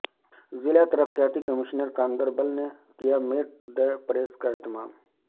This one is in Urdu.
ضلع ترقیاتی کمیشنر گاندربل نے کیا میٹ دی پریس کا اہتمام